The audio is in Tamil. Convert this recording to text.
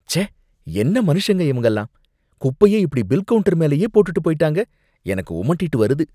ச்சே! என்ன மனுஷங்க இவங்கலாம்! குப்பைய இப்படி பில் கவுண்டர் மேலேயே போட்டுட்டு போயிட்டாங்க, எனக்கு உமட்டிட்டு வருது